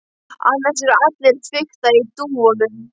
Annars eru allir að fikta í dúfunum.